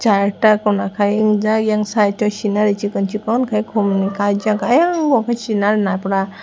charta Kuna kai unjak eiang site o scenari chikon chikon ke khum ni kaijak eiang unkhe sinal ba puta.